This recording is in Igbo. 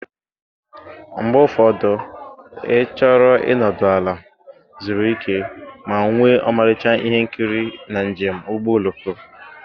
Mgbe ụfọdụ ị chọrọ ịnọdụ ala, zuru ike, ma nwee ọmarịcha ihe nkiri na njem ụgbọ oloko.